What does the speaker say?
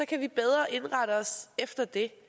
kan vi bedre indrette os efter det